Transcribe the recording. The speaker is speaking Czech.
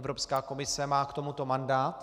Evropská komise má k tomuto mandát.